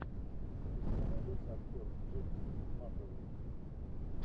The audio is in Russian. у тебя найдется актер джеймс макэвой